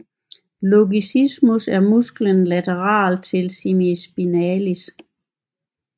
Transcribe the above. Longissimus er musklen lateralt til semispinalis